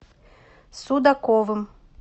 судаковым